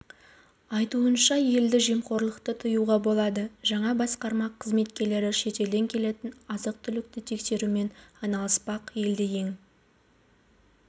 айтуынша енді жемқорлықты тыюға болады жаңа басқарма қызметкерлері шетелден келетін азық-түлікті тексерумен айналыспақ елде ең